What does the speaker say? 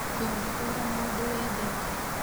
Ndũngĩhũũra mũndũ wendete